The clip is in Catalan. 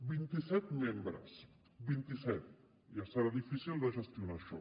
vint i set membres vint i set ja serà difícil de gestionar això